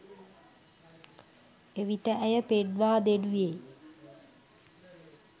එවිට ඇය පෙන්වා දෙනුයේ